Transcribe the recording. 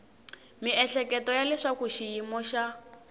miehleketo ya leswaku xiyimo xa